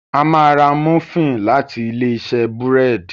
A má rà Múfìn láti Ilé-iṣẹ́ búrẹ́d.